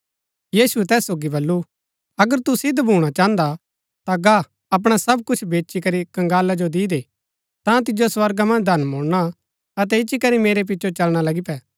यीशुऐ तैस सोगी बल्लू अगर तू सिद्ध भूणा चाहन्दा हा ता गा अपणा सब कुछ बेचीकरी कंगाला जो दी दे ता तिजो स्वर्गा मन्ज धन मुळना अतै इच्ची करी मेरै पिचो चलना लगी पे